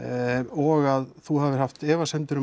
og að þú hafir haft efasemdir um